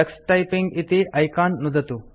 Tux typing इति icon नुदतु